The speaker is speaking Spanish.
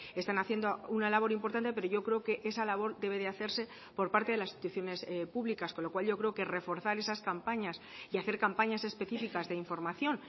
están haciendo una labor importante pero yo creo que esa labor debe de hacerse por parte de las instituciones públicas con lo cual yo creo que reforzar esas campañas y hacer campañas específicas de información